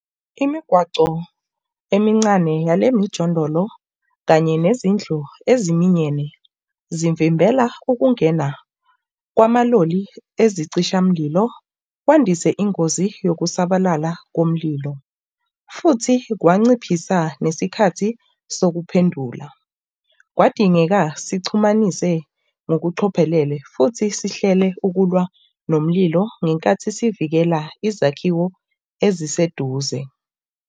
Imigwaco emincane yale mijondolo kanye nezindlu eziminyene, zivimbela ukungena kwamaloli ezicishamlilo, kwandise ingozi yokusabalala komlilo. Futhi kwanciphithisa nesikhathi sokuphendula. Kwadingeka sixhumanise ngokucophelele futhi sihlele ukulwa nomlilo ngenkathi sivikela izakhiwo eziseduze.